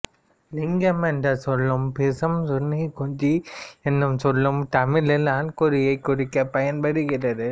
லிங்கம் என்ற சொல்லும் பீசம் சுன்னி குஞ்சி எனும் சொல்லும் தமிழில் ஆண்குறியை குறிக்க பயன்படுகிறது